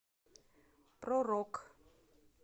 про рок